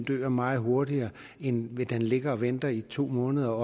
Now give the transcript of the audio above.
dør meget hurtigere end hvis den ligger og venter i to måneder